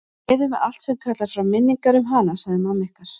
Niður með allt sem kallar fram minningar um hana, sagði mamma ykkar.